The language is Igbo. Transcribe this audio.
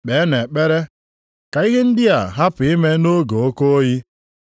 Kpeenụ ekpere ka ihe ndị a hapụ ime nʼoge oke oyi.